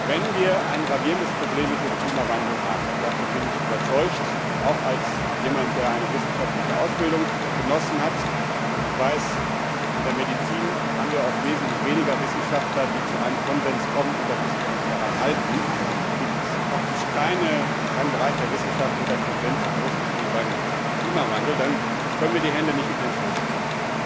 Wenn wir ein gravierendes Problem mit dem Klimawandel haben und davon bin ich überzeugt, auch als jemand, der eine wissenschaftliche Ausbildung genossen hat, und ich weiß, in der Medizin haben wir oft wesentlich weniger Wissenschaftler, die zu einem Konsens kommen, und da müssen wir uns daran halten, es gibt praktisch keinen Bereich der Wissenschaft, wo der Konsens so groß ist wie beim Klimawandel dann können wir die Hände nicht in den Schoß legen.